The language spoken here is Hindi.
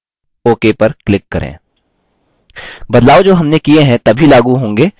बदलाव जो हमने किये हैं तभी लागू होंगे जब हम नया session शुरू करेंगे